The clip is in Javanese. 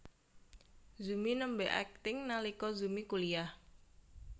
Zumi nembé akting nalika Zumi kuliyah